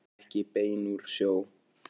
Ekki bein úr sjó.